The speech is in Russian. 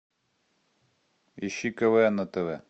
ищи квн на тв